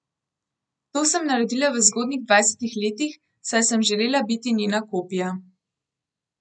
To sem naredila v zgodnjih dvajsetih letih, saj sem želela biti njena kopija.